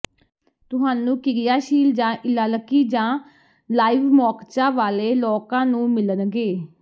ਤੁਹਾਨੂੰ ਕਿਰਿਆਸ਼ੀਲ ਜਾਂ ਈਲਾਲਕੀ ਜਾਂ ਲਾਈਵਮੌਕਚਾ ਵਾਲੇ ਲੋਕਾਂ ਨੂੰ ਮਿਲਣਗੇ